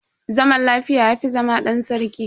Zaman lafiya yafi zama dan sarki.